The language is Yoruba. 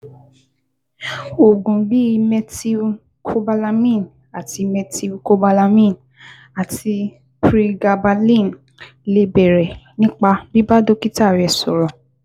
Oògùn bíi cs] methylcobalamin àti methylcobalamin àti pregabalin lè bẹ̀rẹ̀ nípa bíbá dókítà rẹ sọ̀rọ̀